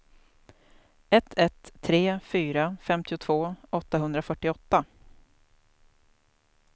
ett ett tre fyra femtiotvå åttahundrafyrtioåtta